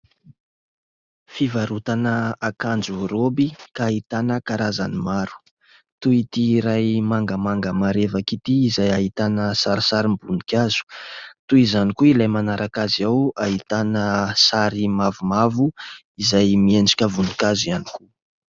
Fivarotana akanjo raoby ka ahitana karazany maro. Toy itỳ iray mangamanga marevaka itỳ izay ahitana sarisarim-boninkazo. Toy izany koa ilay manaraka azy ao ahitana sary mavomavo izay miendrika voninkazo ihany koa.